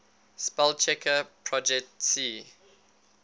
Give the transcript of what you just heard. spellchecker projet c